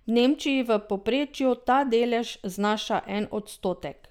V Nemčiji v povprečju ta delež znaša en odstotek.